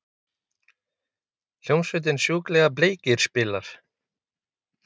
Hljómsveitin Sjúklega bleikir spilar.